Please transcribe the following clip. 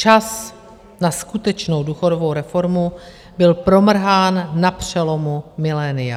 Čas na skutečnou důchodovou reformu byl promrhán na přelomu milénia.